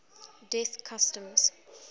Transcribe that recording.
death customs